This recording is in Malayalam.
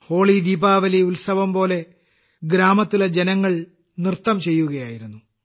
ഹോളി ദീപാവലി ഉത്സവംപോലെ ഗ്രാമത്തിലെ ജനങ്ങൾ നൃത്തം ചെയ്യുകയായിരുന്നു